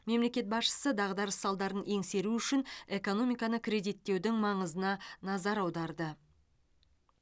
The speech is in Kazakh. мемлекет басшысы дағдарыс салдарын еңсеру үшін экономиканы кредиттеудің маңызына назар аударды